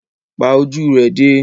Pa ojú rẹ dé!